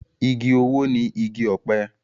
Igi owó ni igi ọ̀pẹ.